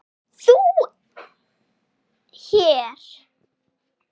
ÞÚ HÉR?